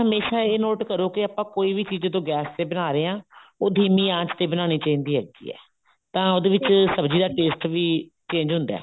ਹਮੇਸ਼ਾ ਇਹ note ਕਰੋ ਕੇ ਜਦੋਂ ਕੋਈ ਵੀ ਚੀਜ਼ ਆਪਾਂ ਗੈਸ ਤੇ ਬਣਾ ਰਹੇ ਹਾਂ ਉਹ ਧੀਮੀ ਆਂਚ ਤੇ ਬਣਾਉਣੀ ਚਾਹੀਦੀ ਹੈ ਤਾਂ ਉਹਦੇ ਵਿੱਚ ਸਬ੍ਜ਼ੀ ਦਾ taste ਵੀ change ਹੁੰਦਾ